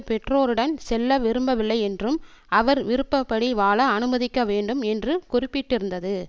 பெற்றோருடன் செல்ல விரும்பவில்லையென்றும் அவர் விருப்ப படி வாழ அனுமதிக்க வேண்டும் என்று குறிப்பிட்டிருந்தது